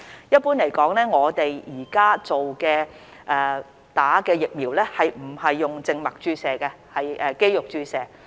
一般來說，我們目前並非以靜脈注射方式接種疫苗，而是肌肉注射。